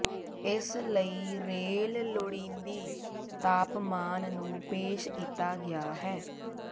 ਇਸ ਲਈ ਰੇਲ ਲੋੜੀਦੀ ਤਾਪਮਾਨ ਨੂੰ ਪੇਸ਼ ਕੀਤਾ ਗਿਆ ਹੈ